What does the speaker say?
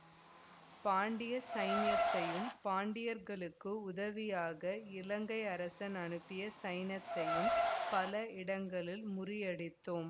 பாண்டிய சைன்யத்தையும் பாண்டியர்களுக்கு உதவியாக இலங்கை அரசன் அனுப்பிய சைன்யத்தையும் பல இடங்களில் முறியடித்தோம்